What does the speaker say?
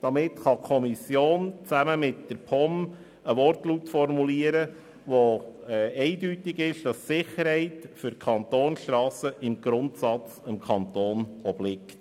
Damit kann die Kommission zusammen mit der POM einen Wortlaut formulieren, der eindeutig darlegt, dass die Sicherheit für die Kantonsstrassen im Grundsatz dem Kanton obliegt.